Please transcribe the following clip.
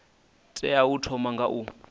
tea u thoma nga u